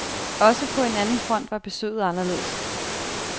Også på en anden front var besøget anderledes.